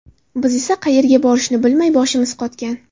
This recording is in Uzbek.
Biz esa qayerga borishni bilmay, boshimiz qotgan.